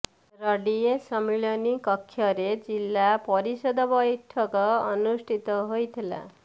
ରଡିଏ ସମ୍ମିଳନୀ କକ୍ଷରେ ଜିଲ୍ଲା ପରିଷଦ ବୈଠକ ଅନୁଷ୍ଠିତ ହୋଇଥିଲା